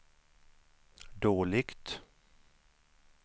dåligt